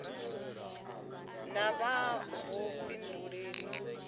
vha na vhuifhinduleli kha zwipotso